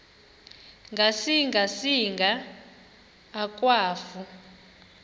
ngasinga singa akwafu